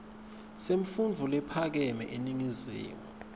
semfundvo lephakeme eningizimu